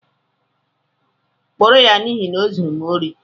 Kpụrụ ya n'ihi na o zụrụ m óri